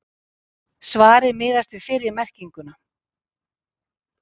Svarið miðast við fyrri merkinguna.